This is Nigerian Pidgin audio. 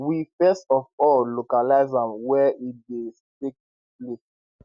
we first of all localise am wia e dey take place